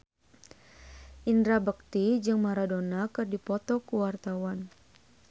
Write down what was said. Indra Bekti jeung Maradona keur dipoto ku wartawan